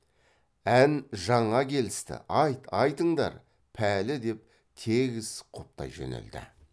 ән жаңа келісті айт айтыңдар пәлі деп тегіс құптай жөнелді